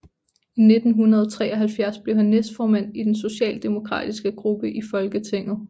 I 1973 blev han næstformand i den socialdemokratiske gruppe i Folketinget